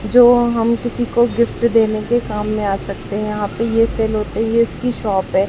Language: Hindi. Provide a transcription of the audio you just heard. जो हम किसी को गिफ्ट देने के काम में आ सकते हैं यहाँ पे ये सेल होते हैं ये इसकी शॉप है।